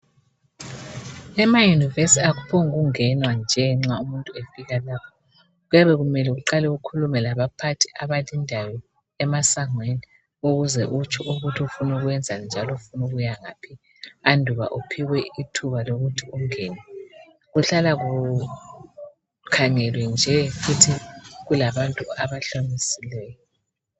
Emayunivesithi akuphokungenwa nje nxa umuntu efika lapha kuyabe kumele aqale ukukhuluma labaphathi abamlindayo emasangweni ukuze utsho ukuthi ufuna ukwenzanjani njalo ufuna ukuya ngaphi anduba uphiwe ithuba lokuthi ungene. Kuhlalakula kukhangele nje futhi kulabantu abahlamhlomisileyo.